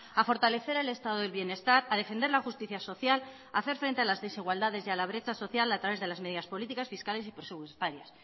a fortalecer el estado del bienestar a defender la justicia social a hacer frente a las desigualdades y a la brecha social a través de las medidas políticas fiscales y presupuestarias